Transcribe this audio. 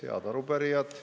Head arupärijad!